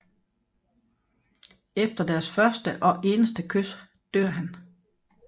Efter deres første og eneste kys dør han